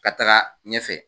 Ka taga ɲɛfɛ